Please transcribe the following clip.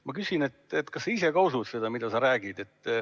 Ma küsin, et kas sa ise ka usud seda, mida sa räägid.